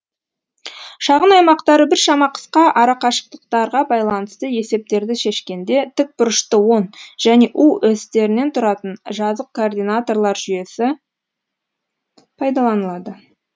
шағын аймақтары біршама қысқа арақашықтықтарға байланысты есептерді шешкенде тік бұрышты он және у осьтерінен тұратын жазық координаталар жүйесі пайдаланылады